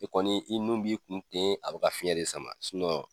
E kɔni ,i nun b'i kun ten a be ka fiɲɛn de sama